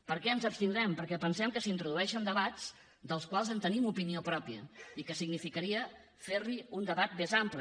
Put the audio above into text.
per què ens abstindrem perquè pensem que s’hi introdueixen debats dels quals tenim opinió pròpia i que significaria fer hi un debat més ampli